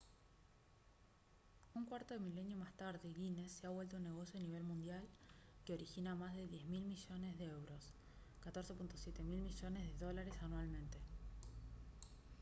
un cuarto de milenio más tarde guinness se ha vuelto un negocio a nivel mundial que origina más de 10 mil millones de euros 14,7 mil millones de dólares anualmente